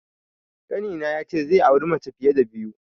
Ƙanina ya ce zai auri mace fiye da biyu.